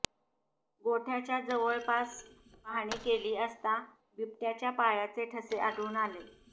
गोठ्याच्या जवळपास पाहणी केली असता बिबट्याच्या पायाचे ठसे आढळून आले